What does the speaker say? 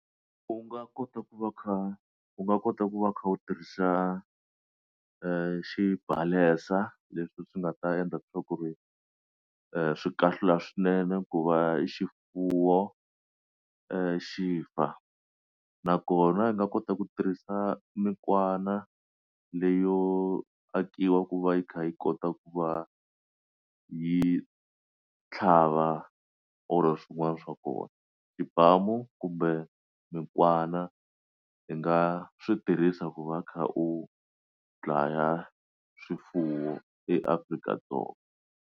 U nga kota ku va u kha u nga kota ku va u kha u tirhisa xibalesa leswi swi nga ta endla leswaku ku ri swikahle swinene ku va i xifuwo i xifa nakona yi nga kota ku tirhisa mikwana leyo akiwa ku va yi kha yi kota ku va yi tlhava or swin'wana swa kona xibamu kumbe mikwana hi nga swi tirhisa ku va u kha u dlaya swifuwo eAfrika-Dzonga.